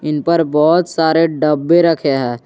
इन पर बहोत सारे डब्बे रखे हैं।